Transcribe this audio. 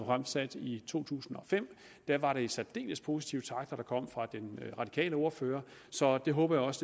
fremsat i to tusind og fem var det særdeles positive takter der kom fra den radikale ordfører så jeg håber også